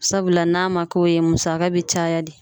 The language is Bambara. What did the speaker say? Sabula n'a ma k'o ye musaka bɛ caya de.